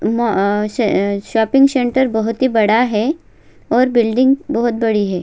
म अ श शॉपिंग सेंटर बहुत ही बड़ा है और बिल्डिंग बहुत बडी है।